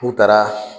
U taara